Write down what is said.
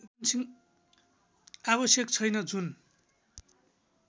आवश्यक छैन जुन